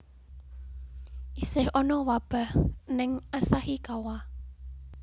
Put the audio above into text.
Isih ono wabah ning Asahikawa